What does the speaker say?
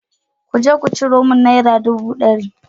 Ku je ku ciro min naira dubu ɗari.